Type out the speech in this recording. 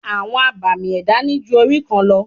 Àwọn abàmì ẹ̀dá ní ju orí kan lọ.